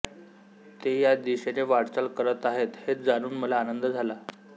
ते या दिशेने वाटचाल करत आहेत हे जाणून मला आनंद झाला